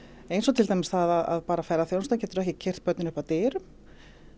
eins og til dæmis það að ferðaþjónustan getur ekki keyrt börnin upp að dyrum